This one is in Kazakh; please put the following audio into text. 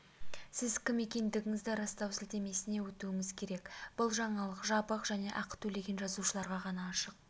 сіз кім екендігіңізді растау сілтемесіне өтуіңіз керек бұл жаңалық жабық және ақы төлеген жазылушыларға ғана ашық